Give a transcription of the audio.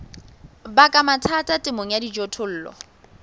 baka mathata temong ya dijothollo